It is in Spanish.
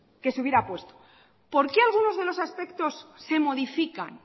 que se hubiera puesto por qué algunos de los aspectos se modifican